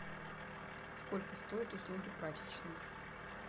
сколько стоят услуги прачечной